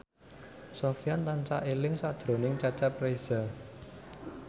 Sofyan tansah eling sakjroning Cecep Reza